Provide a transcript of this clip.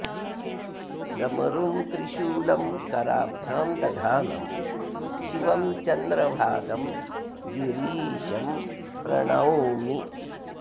डमरुं त्रिशूलं कराभ्यां दधानं शिवं चन्द्रभालं गिरीशं प्रणौमि